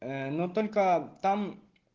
но только там